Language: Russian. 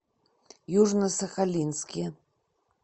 южно сахалинске